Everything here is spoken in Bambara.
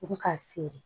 U bi k'a feere